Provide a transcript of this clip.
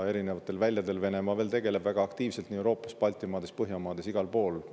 Venemaa tegeleb veel väga aktiivselt erinevatel väljadel Euroopas, Baltimaades, Põhjamaades, igal pool.